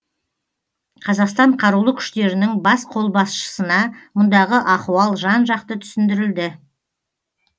қазақстан қарулы күштерінің бас қолбасшысына мұндағы ахуал жан жақты түсіндірілді